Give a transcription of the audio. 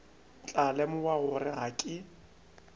tla lemoga gore ga ke